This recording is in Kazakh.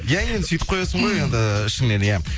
иә енді сөйтіп қоясың ғой енді ішіңнен иә